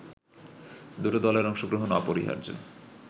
দুটো দলের অংশগ্রহণ অপরিহার্য